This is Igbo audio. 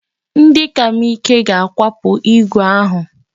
Ndị ka m ike ga-akwapụ igwe ahụ.